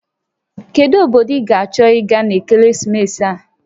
Kedu obodo ị ga-achọ ịga n'ekeresimesi a?